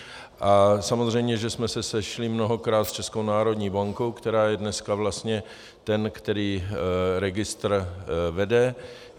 A samozřejmě že jsme se sešli mnohokrát s Českou národní bankou, která je dneska vlastně ten, který registr vede.